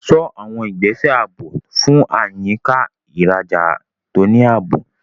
Ṣọ́ àwọn ìgbésẹ̀ ààbò fún àyíká ìrajà tó ní ààbò.